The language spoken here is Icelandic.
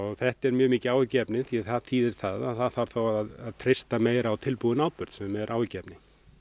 þetta er mjög mikið áhyggjuefni því það þýðir það að það þarf þá að treysta meira á tilbúinn áburð sem er áhyggjuefni